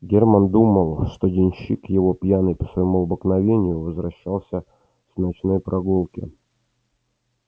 германн думал что денщик его пьяный по своему обыкновению возвращался с ночной прогулки